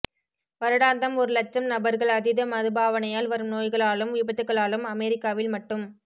வருடாந்தம் ஒரு இலட்சம் நபர்கள் அதீத மதுபாவனையால் வரும் நோய்களாலும் விபத்துகளாலும் அமெரிக்காவில் மட்டும்